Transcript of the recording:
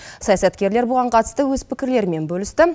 саясаткерлер бұған қатысты өз пікірлерімен бөлісті